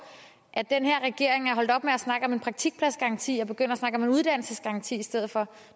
at den her regering er holdt op med at snakke om en praktikpladsgaranti og er begyndt at snakke om en uddannelsesgaranti i stedet for